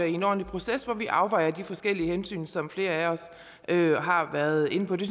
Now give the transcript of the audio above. en ordentlig proces hvor vi afvejer de forskellige hensyn som flere af os har har været inde på det